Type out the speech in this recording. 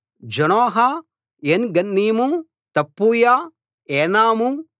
జానోహ ఏన్ గన్నీము తప్పూయ ఏనాము